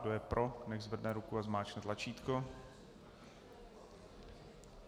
Kdo je pro, nechť zvedne ruku a zmáčkne tlačítko.